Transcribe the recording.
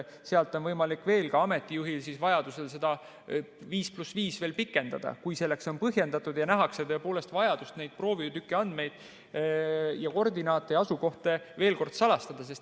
Sealt on võimalik ka ameti juhil vajaduse korral seda 5 + 5 veel pikendada, kui see on põhjendatud ja nähakse tõepoolest vajadust neid proovitüki andmeid ja koordinaate ja asukohti veel kord salastada.